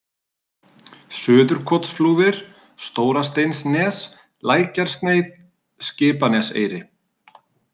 Suðurkotsflúðir, Stórasteinsnes, Lækjarsneið, Skipaneseyri